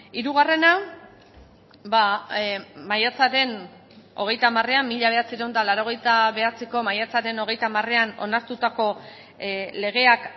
hirugarrena maiatzaren hogeita hamarean mila bederatziehun eta laurogeita bederatziko maiatzaren hogeita hamarean onartutako legeak